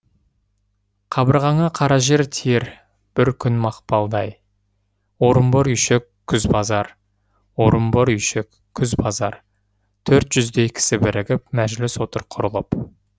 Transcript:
қабырғаңа қара жертиер бір күн мақпалдай орынбор үи шік күз базарорынбор үйшік күз базартөрт жүздей кісі бірігіп мәжіліс отыр құрылып